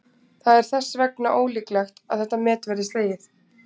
það er þess vegna ólíklegt að þetta met verði slegið